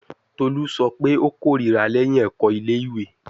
Tolu sọ pe o korira lẹhin ẹkọ ile-iwe